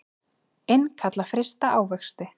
Innkalla frysta ávexti